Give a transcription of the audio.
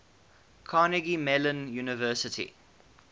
carnegie mellon university